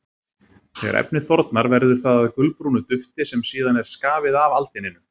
Þegar efnið þornar verður það að gulbrúnu dufti sem síðan er skafið af aldininu.